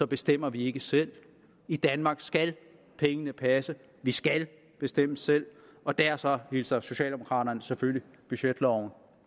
bestemmer vi ikke selv i danmark skal pengene passe vi skal bestemme selv og derfor hilser socialdemokraterne selvfølgelig budgetloven